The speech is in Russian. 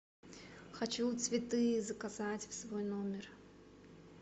хочу цветы заказать в свой номер